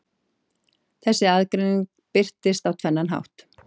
Þessi aðgreining birtist á tvennan hátt.